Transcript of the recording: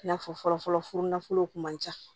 I n'a fɔ fɔlɔ fɔlɔ furu nafolo kun man ca